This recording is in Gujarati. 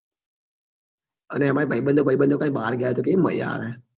અને એમાય ભાઈબંધો ભાઈબંધો કઈ બાર ગયા હોય તો કેવી મજા આવે